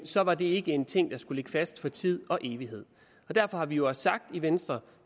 så var det ikke en ting der skulle ligge fast for tid og evighed derfor har vi jo også sagt i venstre